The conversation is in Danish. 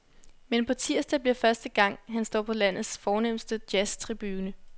Men på tirsdag bliver første gang, han står på landets fornemste jazztribune.